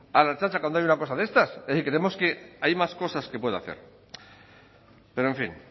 a la ertzaintza cuando haya una cosa de estas es decir creemos que hay más cosas que puede hacer pero en fin